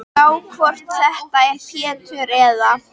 Gá hvort þetta er Pétur. eða